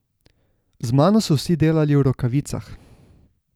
Z mano so vsi delali v rokavicah.